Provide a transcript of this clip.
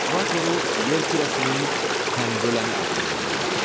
Ekvatoru yer kürəsinin tənböləni adlandırırlar.